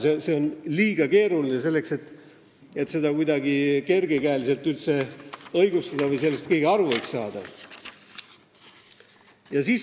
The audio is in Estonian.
See on liiga keeruline, selleks et seda kuidagi kergel käel õigustada või et sellest keegi aru võiks saada.